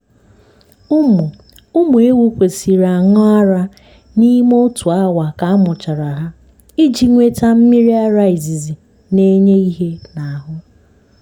ụmụ ụmụ ewu kwesiri aṅụ ara n'ime otu awa ka amụchara hà iji nweta mmírí ara izizi na-enye ihe n'ahụ.